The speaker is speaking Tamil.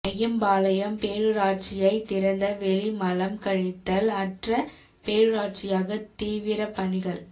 அய்யம்பாளையம் பேரூராட்சியை திறந்த வெளி மலம் கழித்தல் அற்ற பேரூராட்சியாக தீவிர பணிகள்